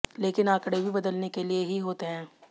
लेकिन आंकड़े भी बदलने के लिए ही होते हैं